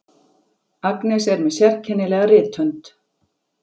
Agnes er með sérkennilega rithönd.